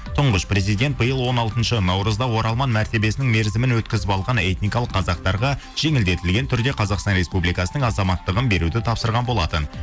тұңғыш президент биыл он алтыншы наурызда оралман мәртебесінің мерзімін өткізіп алған этникалық қазақтарға жеңілдетілген түрде қазақстан республикасының азаматтығын беруді тапсырған болатын